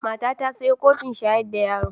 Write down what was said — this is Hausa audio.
Mata ta ta sayo kofin shayar da yaro